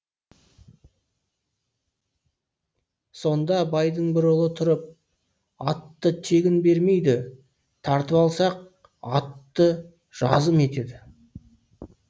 сонда байдың бір ұлы тұрып атты тегін бермейді тартып алсақ атты жазым етеді